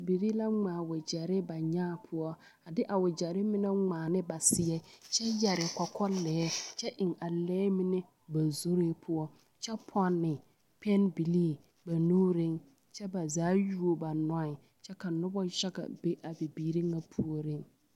Noba la be kusinpelaa poɔ a be koɔ poɔ mane koɔ poɔ kyɛ ka dɔba mine meŋ a do te are a kusin kaŋ zu kyɛ tagra a bana na naŋ be a kusinpelaa poɔ a maneŋ. ₵